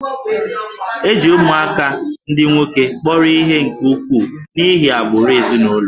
E ji ụmụaka ndị nwoke kpọrọ ihe nke ukwuu n'ihi agbụrụ ezinụlọ